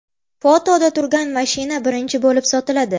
Fotoda turgan mashina birinchi bo‘lib sotiladi.